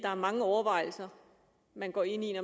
man går ind i